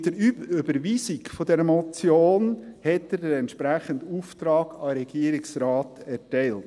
Mit der Überweisung der Motion hat er den entsprechenden Auftrag an den Regierungsrat erteilt.